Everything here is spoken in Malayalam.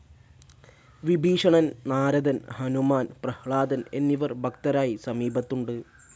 വിഭീഷണൻ, നാരദൻ, ഹനുമാൻ, പ്രഹ്ലാദൻ എന്നിവർ ഭക്തരായി സമീപത്തുണ്ട്.